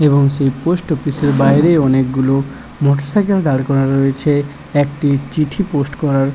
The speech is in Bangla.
এবং সেই পোস্ট অফিস -এর বাইরে অনেকগুলো মোটরসাইকেল দাঁড় করা রয়েছে। একটি চিঠি পোস্ট করার --